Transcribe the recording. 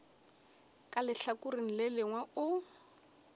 ka lehlakoreng le lengwe o